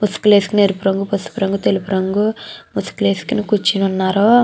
ముసుగులేస్కోని ఎరుపు రంగు పసుపు రంగు తెలుపు రంగు ముసుగులు వేసుకుని కూర్చుని ఉన్నారు.